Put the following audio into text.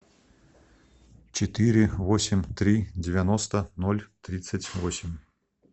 четыре восемь три девяносто ноль тридцать восемь